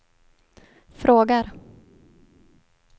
frågar